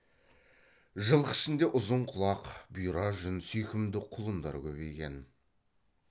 жылқы ішінде ұзын құлақ бұйра жүн сүйкімді құлындар көбейген